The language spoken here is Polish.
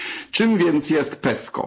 Czym więc jest PESCO?